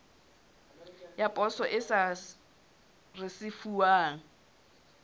ya poso e sa risefuwang